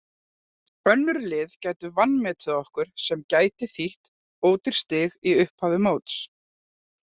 Önnur lið gætu vanmetið okkur sem gæti þýtt ódýr stig í upphafi móts.